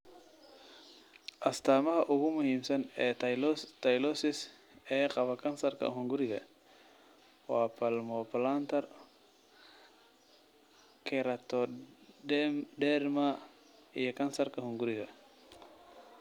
Astaamaha ugu muhiimsan ee Tylosis ee qaba kansarka hunguriga waa palmoplantar keratoderma iyo kansarka hunguriga.